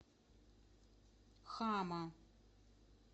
хама